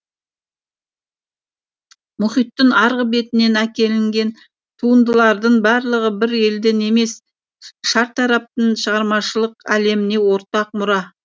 мұхиттың арғы бетінен әкелінген туындылардың барлығы бір елдін емес шартараптың шығармашылық әлеміне ортақ мұра